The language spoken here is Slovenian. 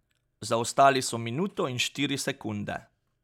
Zaostali so minuto in štiri sekunde.